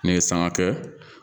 N'i ye sanga kɛ